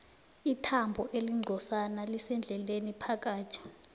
ithambo elincozana lisendlebeni phakathi